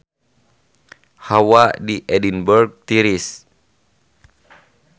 Hawa di Edinburg tiris